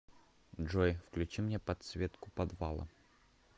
джой включи мне подсветку подвала